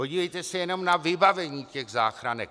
Podívejte se jenom na vybavení těch záchranek!